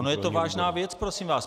Ona je to vážná věc, prosím vás.